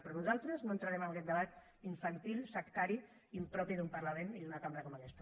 però nosaltres no entrarem en aquest debat infantil sectari impropi d’un parlament i d’una cambra com aquesta